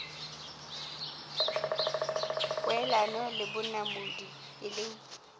poelano le bonamodi e leng